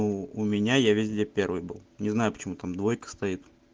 ну у меня я везде первый был не знаю почему там двойка стоит